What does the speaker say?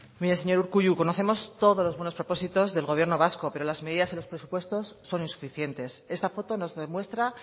mire señor urkullu conocemos todos los buenos propósitos del gobierno vasco pero las medidas y los presupuestos son insuficientes esta foto nos demuestra